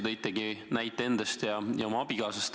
Tõite näite endast ja oma abikaasast.